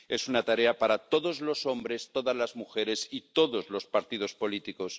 es una tarea para todos los hombres, todas las mujeres y todos los partidos políticos.